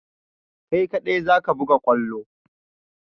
Kai ka ɗai zaka buga kwallo!